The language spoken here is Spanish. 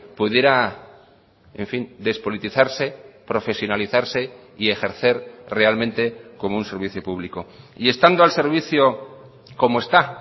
pudiera en fin despolitizarse profesionalizarse y ejercer realmente como un servicio público y estando al servicio como está